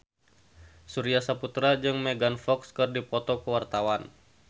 Surya Saputra jeung Megan Fox keur dipoto ku wartawan